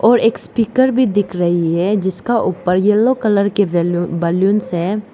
और एक स्पीकर भी दिख रही है जिसका ऊपर येलो कलर की बलूंस है।